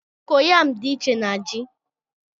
kokoyamú dị iche na ji